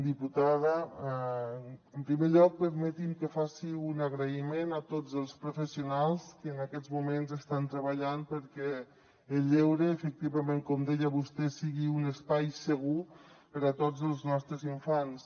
diputada en primer lloc permeti’m que faci un agraïment a tots els professionals que en aquests moments estan treballant perquè el lleure efectivament com deia vostè sigui un espai segur per a tots els nostres infants